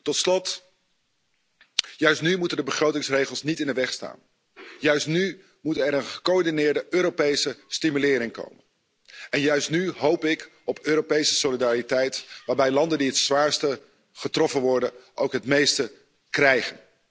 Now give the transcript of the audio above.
Tot slot, juist nu moeten de begrotingsregels niet in de weg staan, juist nu moet er een gecoördineerde Europese stimulering komen en juist nu hoop ik op Europese solidariteit waarbij landen die het zwaarst getroffen worden ook het meeste krijgen.